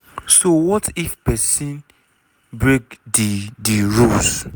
so wat if pesin break di di rules?